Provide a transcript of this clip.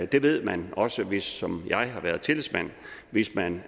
det ved man også hvis man som jeg har været tillidsmand hvis man